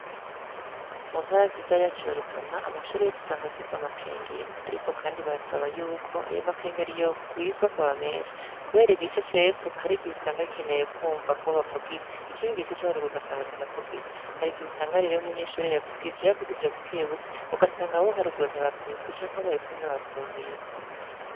Mu ntara yacu nziza ya Rutana, amashure yose usanga afise amakengeri, ariko kandi baraba yuko ayo ma kengeri yo rwizwa akaba menshi, kubera igice cepfo har'igihe usanga gikeneye kumva ko bavugije, ikindi gice co haruguru ugasanga kiravugije, har'igihe usanga rero umunyeshure yavugije, yavugije bukebuke ugasanga abo haruguru ntibavyumvise canke abo hepfo ntibavyumvise.